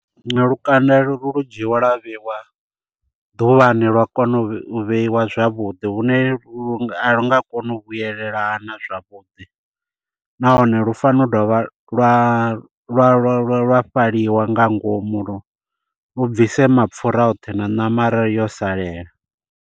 Lukanda lu dzhiiwa lwa vheyiwa ḓuvhani lwa kona u vheiwa zwavhuḓi hune lu a lu nga koni u vhuyelelana zwavhuḓi. Nahone lu fanela u dovha lwa lwa lwa lwa lwa fhaliwa nga ngomu lu bvise mapfura oṱhe na ṋama arali yo salela.